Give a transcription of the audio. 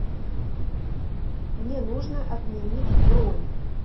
мне нужно отменить бронь